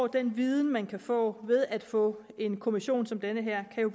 den viden man kan få ved at få en kommission som den her kan jo